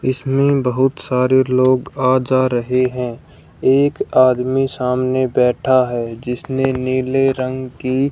इसमें बहुत सारे लोग आ जा रहे हैं एक आदमी सामने बैठा है जिसने नीले रंग की--